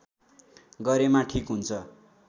गरेमा ठिक हुन्छ